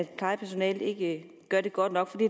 plejepersonalet ikke gør det godt nok for